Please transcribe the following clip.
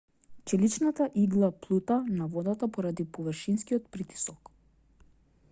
челичната игла плута на водата поради површинскиот притисок